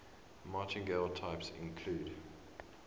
martingale types include